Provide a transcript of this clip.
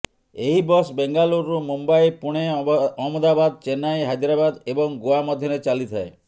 ଏହି ବସ୍ ବେଙ୍ଗାଲୁରରୁ ମୁମ୍ବାଇ ପୁଣେ ଅହମ୍ମଦାବାଦ ଚେନ୍ନାଇ ହାଇଦ୍ରାବାଦ ଏବଂ ଗୋଆ ମଧ୍ୟରେ ଚାଲିଥାଏ